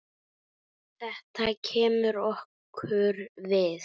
Þetta kemur okkur við.